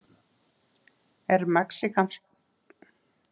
Er mexíkanskur vindur verri en venjulegur vindur?